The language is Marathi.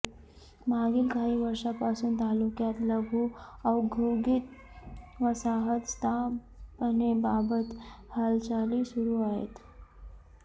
मागील काही वर्षांपासून तालुक्यात लघु औद्योगिक वसाहत स्थापनेबाबत हालचाली सुरू आहेत